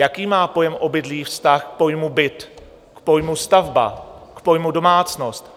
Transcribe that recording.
Jaký má pojem obydlí vztah k pojmu byt, k pojmu stavba, k pojmu domácnost?